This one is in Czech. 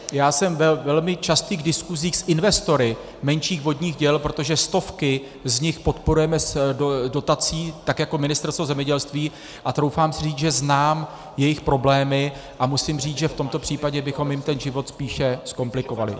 Já jsem ve velmi častých diskuzích s investory menších vodních děl, protože stovky z nich podporujeme dotací tak jako Ministerstvo zemědělství, a troufám si říct, že znám jejich problémy, a musím říct, že v tomto případě bychom jim ten život spíše zkomplikovali.